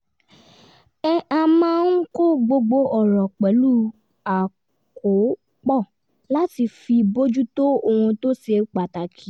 a máa ń kọ́ gbogbo ọ̀rọ̀ pẹ̀lú àkópọ̀ láti fi bójú tó ohun tó ṣe pàtàkì